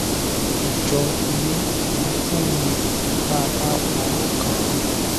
kò jọ ọyún àmọ ó le bá a bá fọwọ kàn án